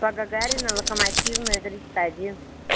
по гагарина локомотивная тридцать один